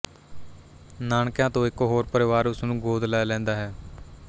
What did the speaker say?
ਨਾਨਕਿਆਂ ਤੋਂ ਇੱਕ ਹੋਰ ਪਰਿਵਾਰ ਉਸ ਨੂੰ ਗੋਦ ਲੈ ਲੈਂਦਾ ਹੈ